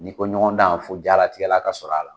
N'i ko ɲɔgɔndan fo jalatigɛla ka sɔrɔ a la